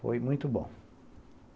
Foi muito bom.